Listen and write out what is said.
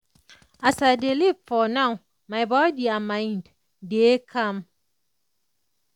as i dey live for now my body and mind dey calm.